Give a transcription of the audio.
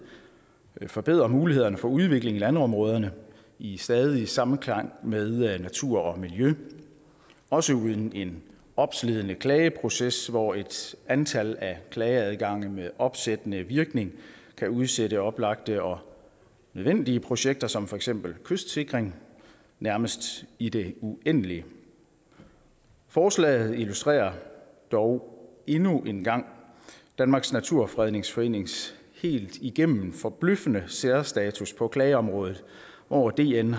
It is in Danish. forbedrer mulighederne for udvikling i landområderne i stadig samklang med natur og miljø også uden en opslidende klageproces hvor et antal klageadgange med opsættende virkning kan udsætte oplagte og nødvendige projekter som for eksempel kystsikring nærmest i det uendelige forslaget illustrerer dog endnu en gang danmarks naturfredningsforenings helt igennem forbløffende særstatus på planområdet hvor dn